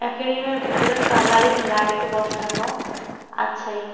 একুয়ারিয়ামের ভিতরে colouring light বসানো আছে।